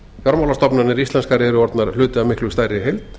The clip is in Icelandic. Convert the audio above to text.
fjármálastofnanir íslenskar eru orðnar hluti af miklu stærri heild